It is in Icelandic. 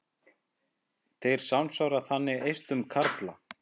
Þeir samsvara þannig eistum karla.